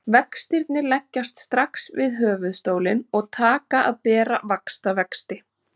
Vextirnir leggjast strax við höfuðstólinn og taka að bera vaxtavexti.